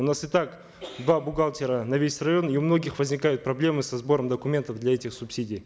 у нас итак два бухгалтера на весь район и у многих возникают проблемы со сбором документов для этих субсидий